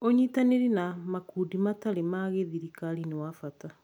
ũnyitanĩri na makundi matarĩ ma gĩthirikari nĩ wa bata.